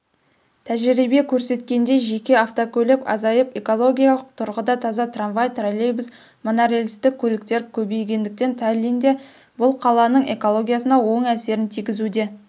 тәжірибе көрсеткендей жеке автокөлік азайып экологиялық тұрғыда таза трамвай троллейбус монорельсті көліктер көбейгендіктен таллинде бұл қаланың экологиясына оң әсерін тигізуде